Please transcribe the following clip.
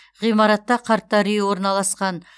ғимаратта қарттар үйі орналасқан